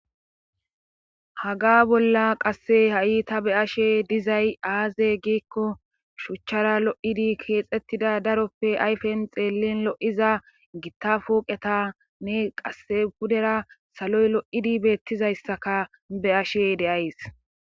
Haga bolla qasse ha'i ta be'ashe dizay aaze giikko shuchchara lo'idi keexettida daroppe ayifen xeelin lo'iza gitta pooqetanne qasse pudera saloy lo'idi beettiza issaka be'ashey de'ayis